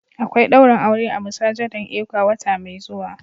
Akwai daurin aure a masujadan ecwa wata mai zuwa.